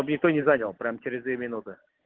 чтоб никто не занял прямо через две минуты